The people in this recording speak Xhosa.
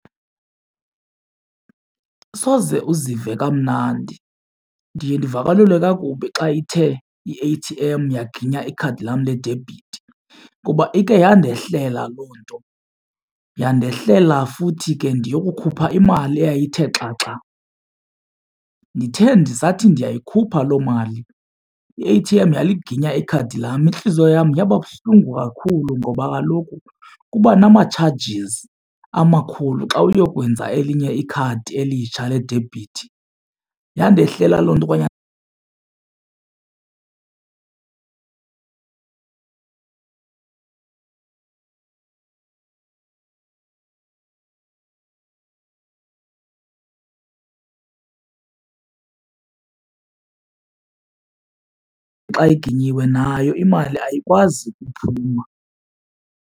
Soze uzive kamnandi ndiye ndivakalelwe kakubi xa ithe i-A_T_M yaginya ikhadi lam ledebhithi kuba ikhe yandehlela loo nto. Yandehlela futhi ke ndiyokukhupha imali eyayithe xaxa ndithe ndisathi ndiyikhupha loo mali i-A_T_M yaliginya ikhadi lam. Intliziyo yam yaba buhlungu kakhulu ngoba kaloku kuba nama-charges amakhulu xa uyokwenza elinye ikhadi elitsha ledebhithi. Yandehlela loo nto , xa iginyiwe nayo imali ayikwazi ukuphuma.